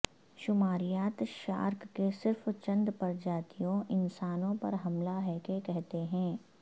شماریات shark کے صرف چند پرجاتیوں انسانوں پر حملہ ہے کہ کہتے ہیں